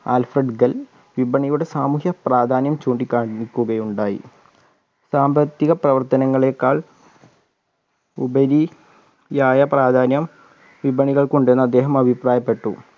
Alfred ഖൽ വിപണിയുടെ സാമൂഹ്യ പ്രാധാന്യം ചൂണ്ടികാണിക്കുകയുണ്ടായി സാമ്പത്തിക പ്രവർത്തനങ്ങളേക്കാൾ ഉപരി യായ പ്രാധാന്യം വിപണികൾക്ക് ഉണ്ടെന്ന് അദ്ദേഹം അഭിപ്രായപ്പെട്ടു